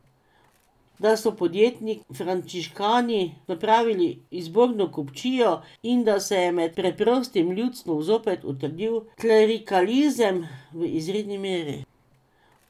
Da so podjetni frančiškani napravili izborno kupčijo in da se je med preprostim ljudstvom zopet utrdil klerikalizem v izredni meri.